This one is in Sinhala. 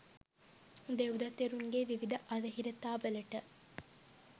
දෙව්දත් තෙරුන්ගේ විවිධ අවහිරතාවලට